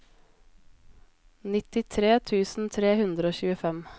nittitre tusen tre hundre og tjuefem